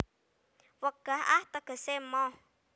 Wegah ah tegese moh